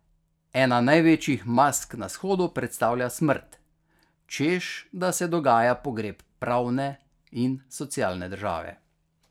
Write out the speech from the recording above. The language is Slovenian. Ena največjih mask na shodu predstavlja smrt, češ da se dogaja pogreb pravne in socialne države.